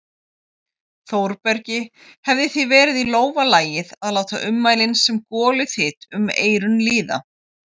Þórbergi hefði því verið í lófa lagið að láta ummælin sem goluþyt um eyrun líða.